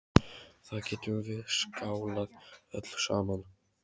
Þá getum við skálað öll saman.